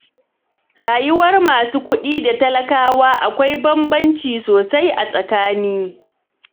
Rayuwar masu kuɗi da ta talakawa akwai bambanci sosai a tsakani.